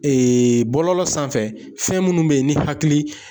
Ee bɔlɔlɔ sanfɛ fɛn minnu be yen ni hakili